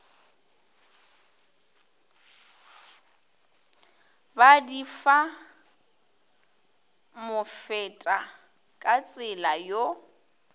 ba di fa mofetakatsela yo